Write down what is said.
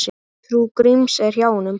Trú Gríms er hjá honum.